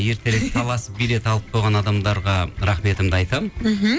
ертерек таласып билет алып қойған адамдарға рахметімді айтамын мхм